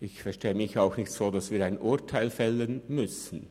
Ich verstehe es auch nicht so, dass wir ein Urteil fällen müssen.